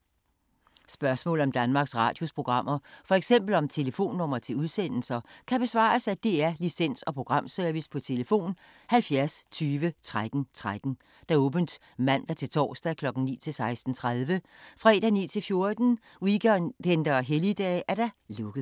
Spørgsmål om Danmarks Radios programmer, f.eks. om telefonnumre til udsendelser, kan besvares af DR Licens- og Programservice: tlf. 70 20 13 13, åbent mandag-torsdag 9.00-16.30, fredag 9.00-14.00, weekender og helligdage: lukket.